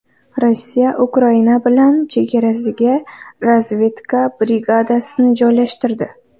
Rossiya Ukraina bilan chegarasiga razvedka brigadasini joylashtirdi.